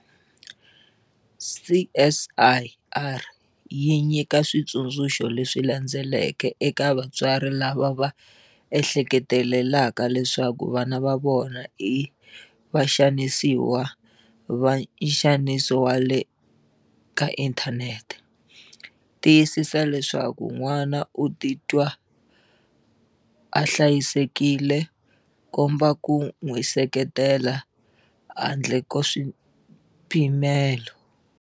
CSIR yi nyika switsundzuxo leswi landzelaka eka vatswari lava va ehleketelelaka leswaku vana va vona i vaxanisiwa va nxaniso wa le ka inthanete- Tiyisisa leswaku n'wana u titwa a hlayisekile, komba ku n'wi seketela handle ka swipimelo.